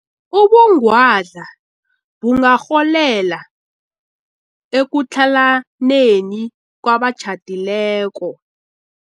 Ubungwadla bungarholela ekutlhalaneni kwabatjhadileko.